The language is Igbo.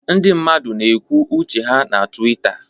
Ndị mmadụ na-ekwu uche ha na Twitter